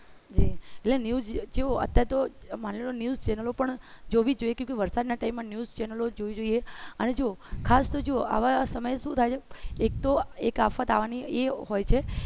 એટલે news અત્યારે તો માની લોકે news channel જી જો પણ વરસાદના time એ news channel જોવી જોઈએ અને જો ખાસ તો જુઓ આવા સમયે શું થાય એક તો એક આફત આવવાની એ હોય છે